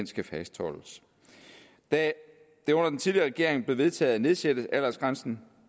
skal fastholdes da det under den tidligere regering blev vedtaget at nedsætte aldersgrænsen